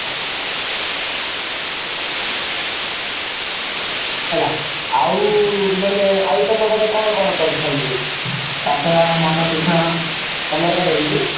ହେଲା ଆଉ ନହେଲେ ଆଉ ତମ ଘରେ କଣ କଣ କରିଛନ୍ତି କକେର ମଣ୍ଡା ପିଠା ତମର ଘରେ ହେଇଛି